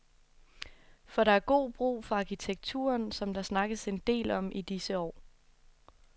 For der er god brug for arkitekturen, som der snakkes en del om i disse år.